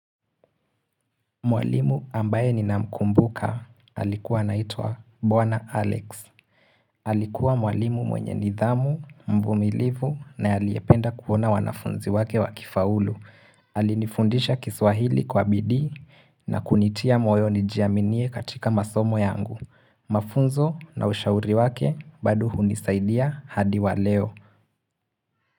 Mwalimu ambaye ni namkumbuka alikuwa naitwa Bwana Alex. Alikuwa mwalimu mwenye nidhamu, mvumilivu na aliyependa kuona wanafunzi wake wakifaulu. Alinifundisha kiswahili kwa bidii na kunitia mwoyo nijiaminie katika masomo yangu. Mafunzo na ushauri wake bado hunisaidia hadi waleo.